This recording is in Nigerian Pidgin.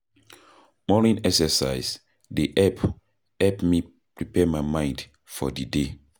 Morning exercise dey help prepare my mind for di day.